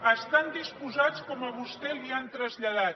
hi estan disposats com a vostè li ho han traslladat